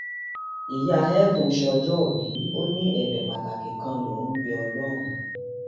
ìyá heaven sọjọòbí ó ní ẹbẹ pàtàkì kan lòun ń bẹ ọlọrun